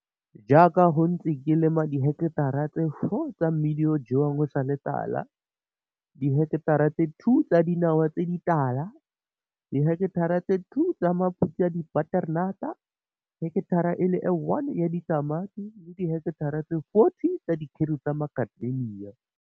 Jaaka go ntse ke lema diheketara tse 4 tsa mmidi o o jewang o sa le tala, diheketara tse 2 tsa dinawa tse ditala, diheketara tse 2 tsa maphutshe a dibaterenata, heketare e le 1 ya ditamati le diheketara tse 40 tsa dikgeru tsa Makadamia.